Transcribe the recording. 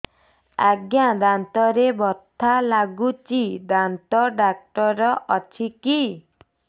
ଆଜ୍ଞା ଦାନ୍ତରେ ବଥା ଲାଗୁଚି ଦାନ୍ତ ଡାକ୍ତର ଅଛି କି